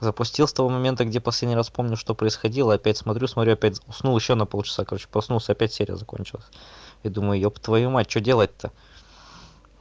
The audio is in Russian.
запустил с того момента где последний раз помню что происходило опять смотрю смотрю опять уснул ещё на полчаса короче проснулся опять серия закончилось и думаю еб твою мать что делать-то